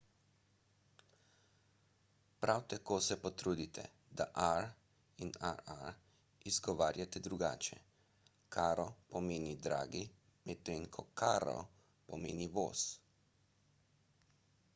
prav tako se potrudite da r in rr izgovarjate drugače caro pomeni dragi medtem ko carro pomeni voz